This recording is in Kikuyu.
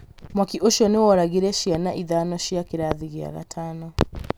Mwaki ũcio nĩ woragire ciana ithano cia kĩrathi gĩa gatano